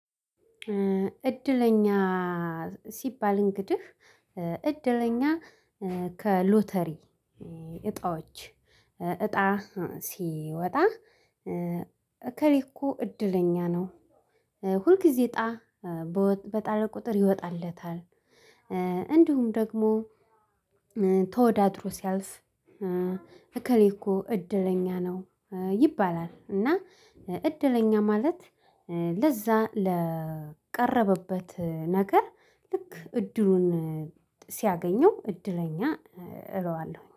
እድለኛ ሲባል እንግዲህ እድለኛ ከሎተሪ እጣዎች እጣ ሲወጣ እከሌ እኮ እድለኛ ነው። ሁልጊዜ እጣ በጣለ ቁጥር ይወጣለታል። እንዲሁም ደግሞ ተወዳድሮ ሲያልፍ እከሌ እኮ እድለኛ ነው። ይባላል። እና እድለኛ ማለት ለዛ ለቀረበበት ነገር ልክ እድሉን ሲያገኘው እድለኛ እለዋለሁ